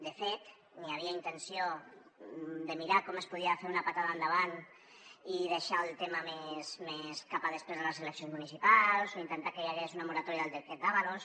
de fet hi havia intenció de mirar com es podia fer una puntada de peu endavant i deixar el tema més cap a després de les eleccions municipals o intentar que hi hagués una moratòria del decret ábalos